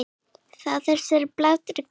Þá er þessari baráttu lokið.